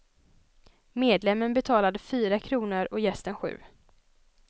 Medlemmen betalade fyra kronor och gästen sju.